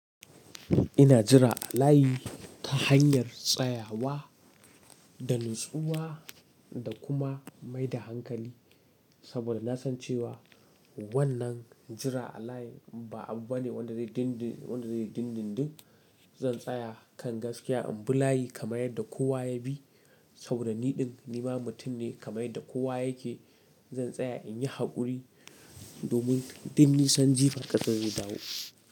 Ina jira a layi ta hanyar tsayawa da natsuwa da kuma mai da hankali. Saboda na san cewa wannan jira a layi ba abu bane wanda zai dindindin. Zan tsaya kan gaskiya in bi layi kamar yadda kowa ya bi. Sabodani din ni ma mutum ne kamar yadda kowa yake. Zan tsaya in yi haƙuri domin dinnisan jifa ƙasan zai dawo.